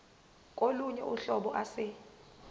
kolunye uhlobo ase